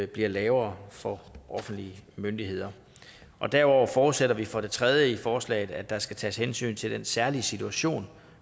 bliver lavere for offentlige myndigheder derudover forudsætter vi for det tredje i forslaget at der skal tages hensyn til den særlige situation